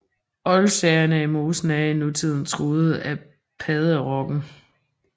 Oldsagerne i mosen er i nutiden truet af padderokken